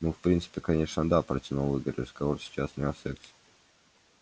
ну в принципе конечно да протянул игорь разговор сейчас не о сексе